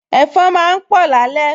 Ẹ̀fọn máa ń pọ̀ lálẹ́